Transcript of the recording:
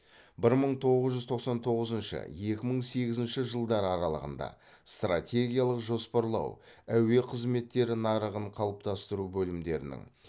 бір мың тоғыз жүз тоқсан тоғызыншы екі мың сегізінші жылдар аралығында стратегиялық жоспарлау әуе қызметтері нарығын қалыптастыру бөлімдерінің